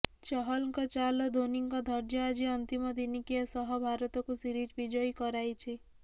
ଚହଲଙ୍କ ଚାଲ୍ ଓ ଧୋନିଙ୍କ ଧୈର୍ଯ୍ୟ ଆଜି ଅନ୍ତିମ ଦିନିକିଆ ସହ ଭାରତକୁ ସିରିଜ୍ ବିଜୟୀ କରାଇଛି